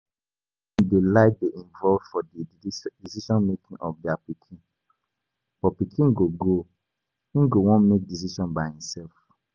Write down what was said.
Parents dey like dey involved for di decision making of of their pikin, but pikin go grow, im go wan make decision by im self